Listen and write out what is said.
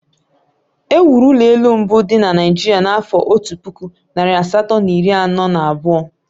E wuru ụlọ elụ mbụ dị na Naịjirịa n'afọ Otu puku, narị asatọ na iri anọ na abụọ